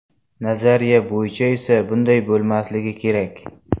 Nazariya bo‘yicha esa bunday bo‘lmasligi kerak.